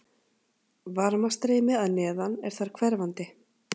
Varmastreymi að neðan er þar hverfandi.